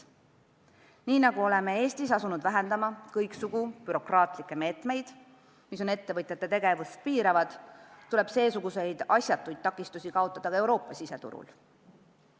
Nii nagu oleme Eestis asunud vähendama kõiksugu bürokraatlikke meetmeid, mis ettevõtjate tegevust piiravad, tuleb seesuguseid asjatuid takistusi kaotada ka Euroopa siseturul.